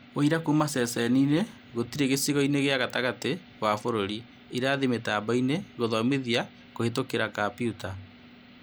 ũira kuuma ceceni ngĩtĩre gĩcigoinĩ gĩa gatagatĩ wa bũrũri. Irathi mĩtamboinĩ, kũthomithia gũkĩhũtgira kambiuta